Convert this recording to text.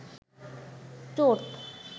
চোট